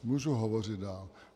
Můžu hovořit dál?